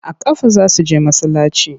A ƙafa za su je masallaci.